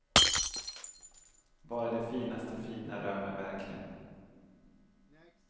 Bara det finaste fina rör mig verkligen.